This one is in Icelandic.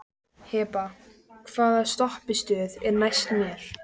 Hebba, hvaða stoppistöð er næst mér?